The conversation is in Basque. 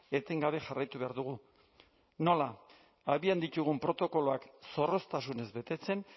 etengabe jarraitu behar dugu nola abian ditugun protokoloak zorroztasunez betetzen